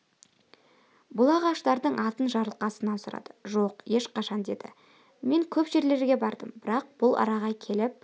бұл ағаштардың атын жарылқасыннан сұрады жоқ ешқашан деді мен көп жерлерге бардым бірақ бұл араға келіп